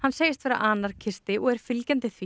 segist vera anarkisti og er fylgjandi því